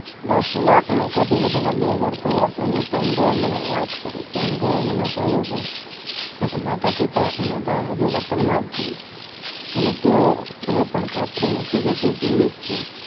દસ લાખ વધુ લોકોના બે ઘર થયા તેની પેટ્રો એ મને વાત કરી પેટ્રો એ મને કહ્યું કે મેં તો માતાપિતા અને ભાઈ વતન માં જ છે અને તેઓ એ પણ ખાતરી નથી કે હજી તે જીવિત છે